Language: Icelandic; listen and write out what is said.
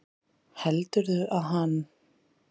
Heldurðu að hann